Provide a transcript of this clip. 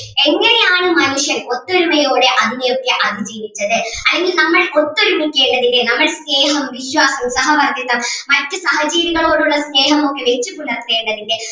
എങ്ങനെയാണ് മനുഷ്യൻ ഒത്തൊരുമയോടെ അതിനെ ഒക്കെ അതിജീവിച്ചത് അതിന് നമ്മൾ ഒത്തൊരുമിക്കുക അല്ല പിന്നെ നമ്മൾ സ്നേഹം, വിശ്വാസം, സഹവർത്തിത്വം മറ്റു സഹജീവികളോട് ഉള്ള സ്നേഹം ഒക്കെ വെച്ച് പുലർത്തേണ്ടതിൻ്റെ